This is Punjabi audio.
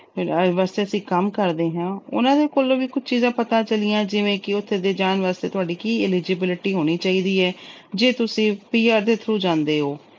ਵਾਸਤੇ ਅਸੀਂ ਕੰਮ ਕਰਦੇ ਆ। ਉਹਨਾਂ ਦੇ ਕੋਲੋਂ ਵੀ ਕੁਝ ਚੀਜਾਂ ਪਤਾ ਚੱਲੀਆਂ ਜਿਵੇਂ ਕਿ ਉੱਥੇ ਦੇ ਜਾਣ ਵਾਸਤੇ ਤੁਹਾਡੀ ਕੀ eligibility ਹੋਣੀ ਚਾਹੀਦੀ ਏ ਜੇ ਤੁਸੀਂ PR ਦੇ through ਜਾਂਦੇ ਓ।